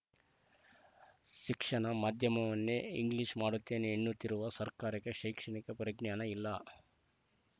ಶಿಕ್ಷಣ ಮಾಧ್ಯಮವನ್ನೇ ಇಂಗ್ಲಿಷ್‌ ಮಾಡುತ್ತೇನೆ ಎನ್ನುತ್ತಿರುವ ಸರ್ಕಾರಕ್ಕೆ ಶೈಕ್ಷಣಿಕ ಪರಿಜ್ಞಾನ ಇಲ್ಲ